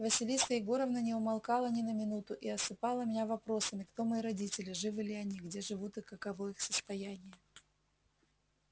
василиса егоровна не умолкала ни на минуту и осыпала меня вопросами кто мои родители живы ли они где живут и каково их состояние